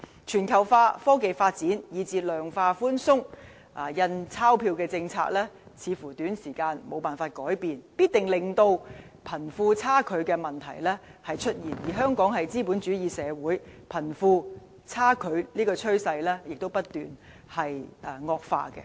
全球化、科技發展以至量化寬鬆的"印鈔票政策"似乎在短時間內無法改變，必定令貧富差距的問題出現，而香港是資本主義社會，貧富差距的趨勢亦不斷惡化。